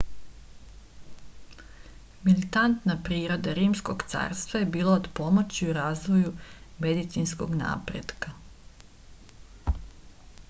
militantna priroda rimskog carstva je bila od pomoći u razvoju medicinskog napretka